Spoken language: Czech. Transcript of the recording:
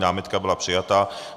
Námitka byla přijata.